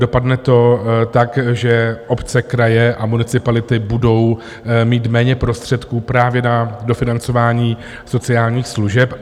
Dopadne to tak, že obce, kraje a municipality budou mít méně prostředků právě na dofinancování sociálních služeb.